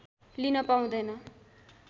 लिन पाउँदैन